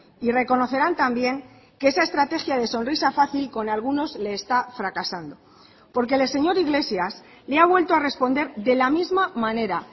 y reconocerán también que esa estrategia de sonrisa fácil con algunos le está fracasando porque el señor iglesias le ha vuelto a responder de la misma manera